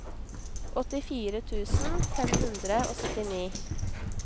åttifire tusen fem hundre og syttini